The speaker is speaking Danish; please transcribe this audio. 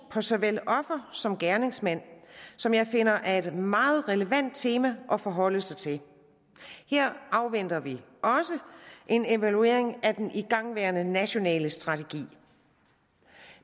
på såvel offer som gerningsmand som jeg finder er et meget relevant tema at forholde sig til her afventer vi også en evaluering af den igangværende nationale strategi